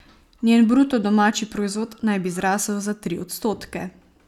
Njen bruto domači proizvod naj bi zrasel za tri odstotke.